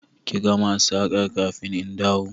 Ki gama saƙar kafin in dawo!